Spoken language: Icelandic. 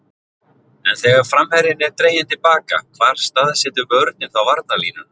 En þegar framherjinn er dreginn til baka hvar staðsetur vörnin þá varnarlínuna?